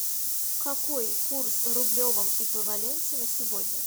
какой курс в рублевом эквиваленте на сегодня